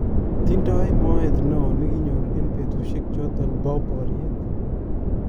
Tindoi moet neo nekinyor eng petushek chotok PO boriet.